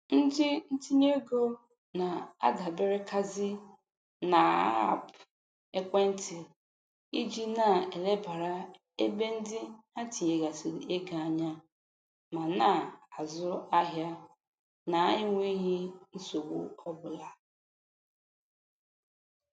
Ndị ntinyeego na-adaberekazi n'aapụ ekwentị iji na-elebara ebe ndị ha tinyegasịrị ego anya ma na-azụ ahịa na-enweghi nsogbu ọbụla.